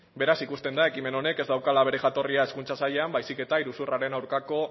beraz ikusten da ekimen honek ez daukala bere jatorria hezkuntza sailean baizik eta iruzurraren aurkako